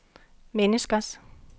menneskers